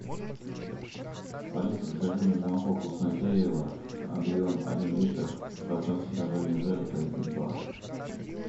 алиса закажи мне молоко вкуснотеево объем один литр процент содержания жира три и два